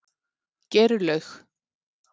Geirlaug